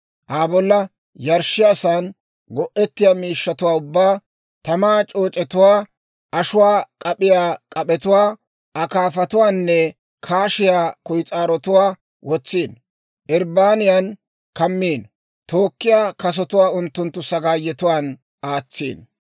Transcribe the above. Aa bolla yarshshiyaasan go'ettiyaa miishshatuwaa ubbaa, tamaa c'ooc'etuwaa, ashuwaa k'ap'iyaa k'ap'etuwaa, akaafatuwaanne kaashiyaa kuyis'aarotuwaa wotsino. Irbbaniyan kammino; tookkiyaa kasotuwaa unttunttu sagaayetuwaan aatsino.